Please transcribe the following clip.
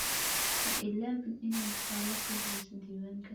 Ha iloobin inaad faallo ka bixiso diiwaanka.